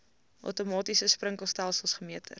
outomatiese sprinkelstelsels gemeter